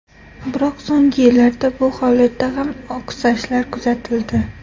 Biroq so‘nggi yillarda bu holatda ham oqsashlar kuzatildi.